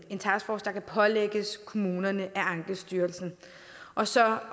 en taskforce der kan pålægges kommunerne af ankestyrelsen og så